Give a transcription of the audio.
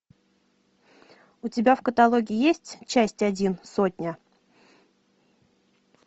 у тебя в каталоге есть часть один сотня